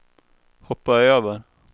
hoppa över